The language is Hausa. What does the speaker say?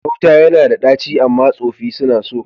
Gauta ya na da ɗaci, amma tsofi suna so.